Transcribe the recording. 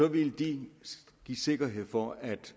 ville de give sikkerhed for at